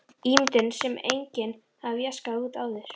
Ímynd sem enginn hafði jaskað út áður.